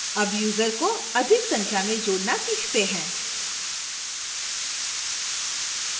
add user को अधिक संख्या में जोडना सीखते हैं